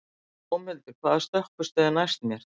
Dómhildur, hvaða stoppistöð er næst mér?